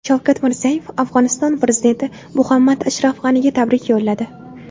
Shavkat Mirziyoyev Afg‘oniston prezidenti Muhammad Ashraf G‘aniga tabrik yo‘lladi.